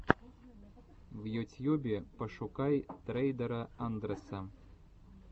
в ютьюбе пошукай трейдера андрэса